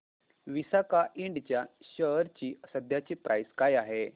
विसाका इंड च्या शेअर ची सध्याची प्राइस काय आहे